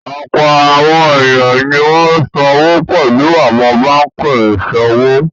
Ọ̀pọ̀ àwọn ènìyàn ni wọ́n ṣòwò pẹ̀lú àwọn báńkì ìṣòwò.